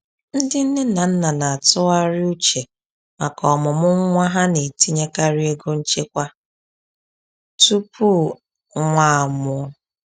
Ndị nne na nna na-atụgharị uche maka ọmụmụ nwa ha na-etinyekarị ego nchekwa tupu nwa a mụọ.